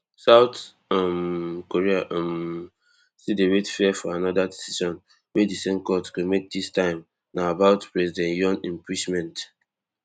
south um korea um still dey wait fear for anoda decision wey di same court go make dis time na about president yon impeachment